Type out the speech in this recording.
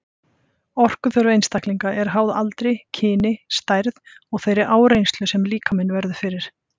Orkuþörf einstaklinga er háð aldri, kyni, stærð og þeirri áreynslu sem líkaminn verður fyrir.